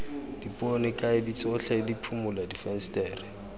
dipone kaedi tsotlhe diphimola difensetere